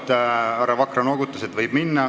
Härra Vakra noogutas, et võib.